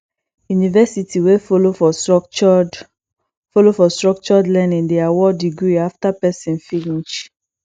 university wey follow for structured follow for structured learning dey award degree after person finish